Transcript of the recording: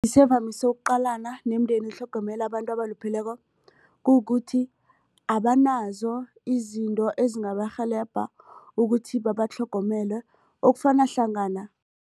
ukuqalana nemindeni etlhogomela abantu abalupheleko kukuthi abanazo izinto ezingabarhelebha ukuthi babatlhogomele okufana hlangana.